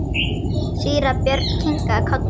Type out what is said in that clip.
Síra Björn kinkaði kolli.